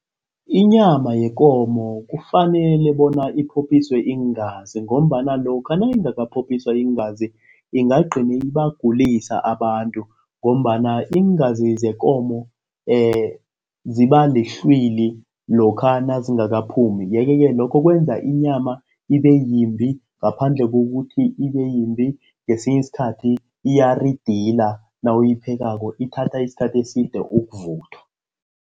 Inyama yekomo kufanele bona iphophiswe iingazi ngombana lokha nayingakaphophiswa iingazi ingagcina ibagulisa abantu ngombana iingazi zeenkomo ziba lihlwili lokha nazingakaphumi, yeke-ke lokho kwenza inyama ibeyimbi ngaphandle kokuthi ibeyimbi ngesinye isikhathi iyaridila nawuyiphekako ithatha isikhathi eside ukuvuthwa.